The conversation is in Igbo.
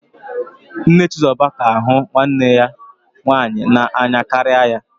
Nne Chizoba ka hụ nwanne ya nwaanyị n'anya karịa ya